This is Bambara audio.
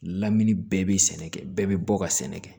Lamini bɛɛ bɛ sɛnɛ kɛ bɛɛ bɛ bɔ ka sɛnɛ kɛ